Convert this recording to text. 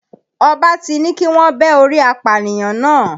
Ọba ti ní kíwọ́n bẹ́ orí apànìyàn náà.